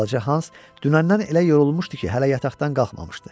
Balaca Hans dünəndən elə yorulmuşdu ki, hələ yataqdan qalxmamışdı.